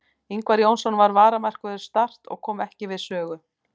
Ingvar Jónsson var varamarkvörður Start og kom ekki við sögu.